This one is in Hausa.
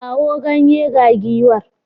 Kawo ganye ga giwar.